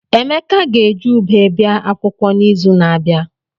Emeka ga-eji ụbe bia akwụkwọ n'izu na-abịa.